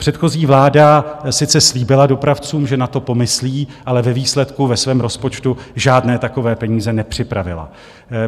Předchozí vláda sice slíbila dopravcům, že na to pomyslí, ale ve výsledku ve svém rozpočtu žádné takové peníze nepřipravila.